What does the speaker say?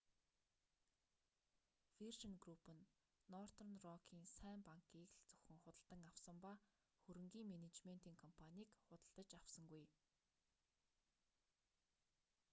виржин групп нь нортерн рокын сайн банк'-ийг л зөвхөн худалдан авсан ба хөрөнгийн менежментийн компанийг худалдаж авсангүй